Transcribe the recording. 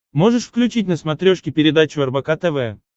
можешь включить на смотрешке передачу рбк тв